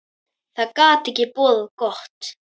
Það gat ekki boðað gott.